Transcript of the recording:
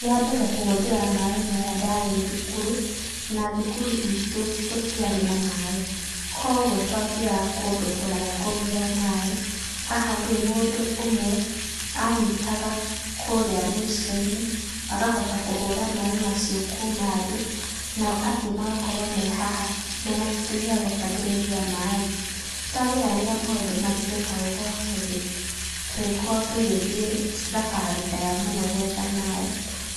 Rĩa mbere kũhũthĩra maĩ maya ndarĩ thukuru, na thukuru itũ gũtiarĩ na maĩ, kwoguo twathiaga kũndũ kũraya kũgĩra maĩ, haha rĩũ mũndũ ũmwe, anyitaga kũrĩa mũicioinĩ, agahota kũhũra maĩ macio kuma thĩ, nao angĩ magakorwo me haha mena kĩndũ gĩa gũtahĩrĩrĩa maĩ. Nĩtwageragĩra maũndũ maritũ ta gũkorwo tũgĩ tũgĩkorwo tũgĩthiĩ thabarĩ ndaya mũno gwetha maĩ,